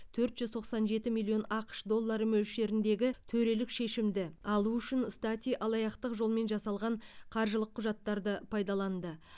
төрт жүз тоқсан жеті миллион ақш доллары мөлшеріндегі төрелік шешімді алу үшін стати алаяқтық жолмен жасалған қаржылық құжаттарды пайдаланды